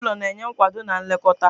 Ezinụlọ na-enye nkwado na nlekọta